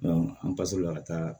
an basla ka taa